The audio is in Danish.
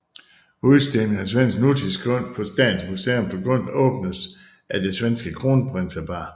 Udstilling af svensk nutidskunst på Statens Museum for Kunst åbnes af det svenske kronprinsepar